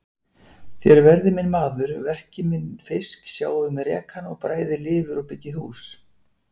Þér verðið minn maður, verkið minn fisk, sjáið um rekann, bræðið lifur og byggið hús.